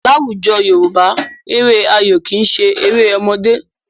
Láwùjọ Yorùbá, eré ayò kì í ṣe eré ọmọdé.